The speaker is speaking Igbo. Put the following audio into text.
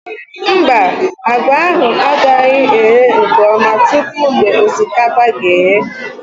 Mba, àgwà ahụ agaghị eghe nke ọma tupu mgbe osikapa ga eghe